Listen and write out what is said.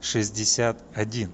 шестьдесят один